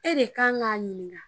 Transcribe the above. E de kan ka ɲininka.